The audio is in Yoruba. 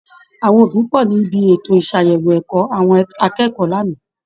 Àwọn òbí pọ̀ ní ibi ètò ìṣàyẹ̀wò ẹ̀kọ́ àwọn akẹ́kọ̀ọ́ lánàá